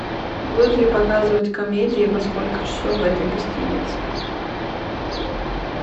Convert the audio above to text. будут ли показывать комедии и во сколько часов в этой гостинице